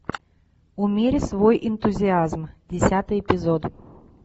умерь свой энтузиазм десятый эпизод